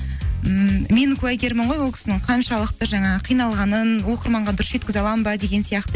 ммм мен куәгермін ғой ол кісінің қаншалықты жаңағы қиналғанын оқырманға дұрыс жеткізе аламын ба деген сияқты